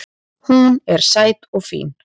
Hún er sæt og fín